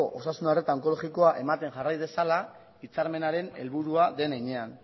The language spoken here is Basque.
osasun arreta onkologikoa ematen jarrai dezala hitzarmenaren helburua den heinean